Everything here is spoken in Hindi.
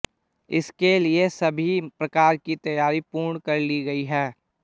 इसके लिए सभी प्रकार की तैयारी पूर्ण कर ली गई है